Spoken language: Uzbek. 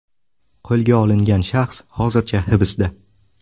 Qo‘lga olingan shaxs hozircha hibsda.